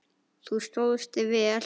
Þú stóðst þig vel.